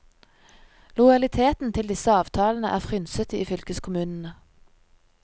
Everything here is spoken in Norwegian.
Lojaliteten til disse avtalene er frynsete i fylkeskommunene.